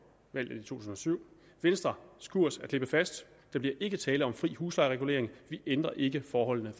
valget i to tusind og syv venstres kurs er klippefast der bliver ikke tale om fri huslejeregulering vi ændrer ikke forholdene